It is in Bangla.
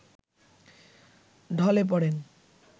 ঢলে পড়েন